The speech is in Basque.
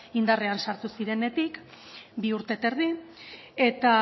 indarrean sartu zirenetik bi urte eta erdi eta